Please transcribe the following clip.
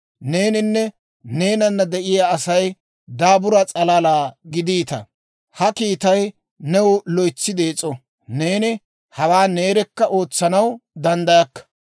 Neeninne neenana de'iyaa Asay daabura s'alalaa giddiita; ha kiittay new loytsi dees'o; neeni hawaa neerekka ootsanaw danddayakka.